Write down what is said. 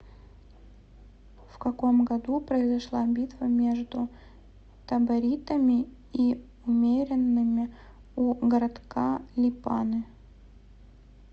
в каком году произошла битва между таборитами и умеренными у городка липаны